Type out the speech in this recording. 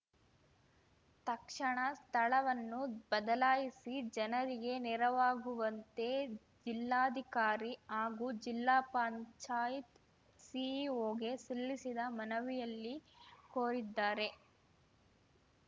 ತಕ್ಷಣ ಸ್ಥಳವನ್ನು ಬದಲಾಯಿಸಿ ಜನರಿಗೆ ನೆರವಾಗುವಂತೆ ಜಿಲ್ಲಾಧಿಕಾರಿ ಹಾಗೂ ಜಿಲ್ಲಾ ಪಂಚಾಯತ್ ಸಿಇಒಗೆ ಸಲ್ಲಿಸಿದ ಮನವಿಯಲ್ಲಿ ಕೋರಿದ್ದಾರೆ